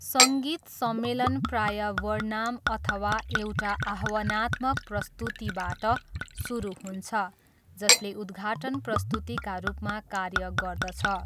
सङ्गीत सम्मेलन प्राय वर्नाम अथवा एउटा आह्वानात्मक प्रस्तुतिबाट सुरु हुन्छ जसले उद्घाटन प्रस्तुतिका रूपमा कार्य गर्दछ।